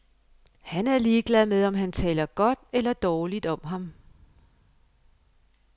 Han er ligeglad med, om man taler godt eller dårligt om ham.